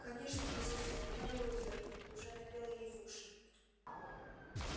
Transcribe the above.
конечно миссис мерриуэзер уже напела ей в уши